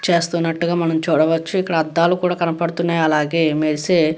చేస్తున్నట్టు గ మనము చూడవచ్చు. ఇక్కడ అద్దాలు కూడా కనపడుతున్నాయి అలాగే మెరిసే --